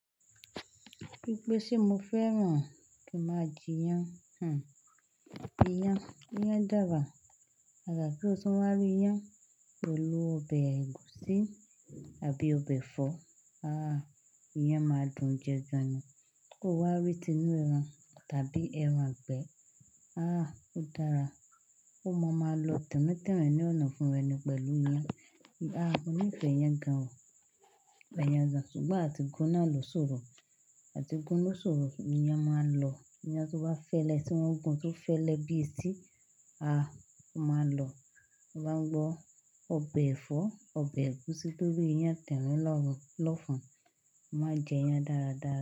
Bí pé ṣé mo fẹ́ràn kí n máa jẹ iyán? Hmm, iyán dára. Àjàgà kí ó tun wá rí iyán pẹ̀lú ọbẹ̀ ẹ̀gúsí àbí ọbẹ̀ ẹ̀fọ́. Ah, iyán máa dùn jẹ gan-an. Kí o wá rí tinú ẹran tàbí ẹran ìgbé. Ah, ó dára. Omo máa lọ tinrin tinrin ní ọ̀nà ọfún rẹ ni pẹ̀lú iyán. Ah, mo nífẹ̀ẹ́ iyán gan o, mo nife iyàn gan. Ṣùgbọ́n àti gun náà lo ṣórò àti gun ló ṣòro, iyán máa ń lọ. Iyán tó bá fẹ́lẹ́, tí wọ́n gun tó fẹ́lẹ́ bí etí, ah, ó máa ń lọ. To báa ń gbọ́ ọbẹ̀ ẹ̀fọ́, ọbẹ̀ ẹgusi lori iyan tinrin l'ọ́fun. Mo máa n jẹ iyán dára dára.